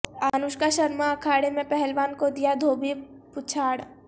انوشکا شرما اکھاڑے میں پہلوان کو دیا دھوبی پچھاڑ